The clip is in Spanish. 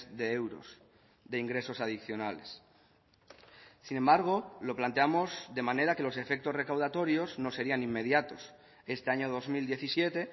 de euros de ingresos adicionales sin embargo lo planteamos de manera que los efectos recaudatorios no serían inmediatos este año dos mil diecisiete